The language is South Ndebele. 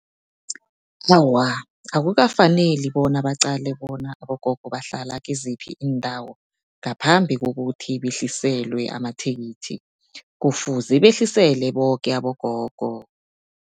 Awa, akukafaneli bona baqale bona abogogo bahlala kiziphi iindawo, ngaphambi kokuthi behliselwe amathikithi, kufuze behlisele boke abogogo.